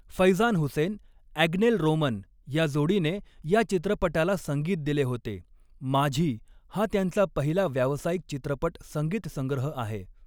फैजान हुसेन ॲग्नेल रोमन या जोडीने या चित्रपटाला संगीत दिले होते, 'माझी' हा त्यांचा पहिला व्यावसायिक चित्रपट संगीतसंग्रह आहे.